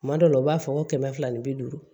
Kuma dɔw la u b'a fɔ ko kɛmɛ fila ni bi duuru